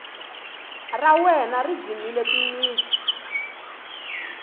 ra wena ri dzimile timitsu